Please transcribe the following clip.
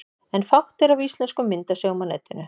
En fátt er af íslenskum myndasögum á netinu.